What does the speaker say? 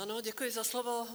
Ano, děkuji za slovo.